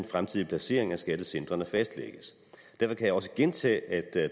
fremtidige placering af skattecentrene fastlægges derfor kan jeg også gentage at